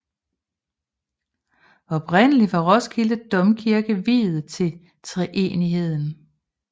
Oprindeligt var Roskilde Domkirke viet til treenigheden